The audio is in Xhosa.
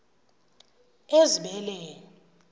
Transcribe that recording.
ezibeleni